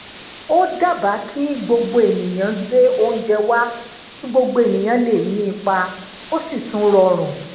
ó dábaa ki gbogbo eniyan gbe ounje wa ki gbogbo eniyan le ni ipa o si tun rorun